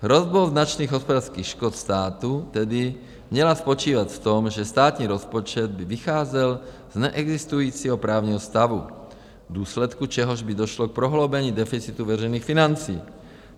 Hrozba značných hospodářských škod státu tedy měla spočívat v tom, že státní rozpočet by vycházel z neexistujícího právního stavu, v důsledku čehož by došlo k prohloubení deficitu veřejných financí.